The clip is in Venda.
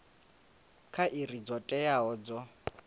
kha iri dzo teaho dzo